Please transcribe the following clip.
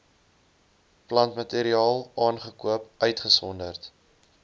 plantmateriaal aangekoop uitgesonderd